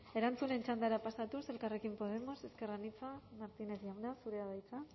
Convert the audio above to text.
erantzunen txandara pasatuz elkarrekin podemos ezker anitza martínez jauna zurea da hitza